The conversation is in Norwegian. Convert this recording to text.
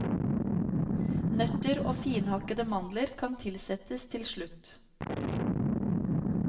Nøtter og finhakkede mandler kan tilsettes til slutt.